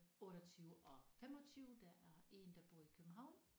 28 og 25 der er én der bor i København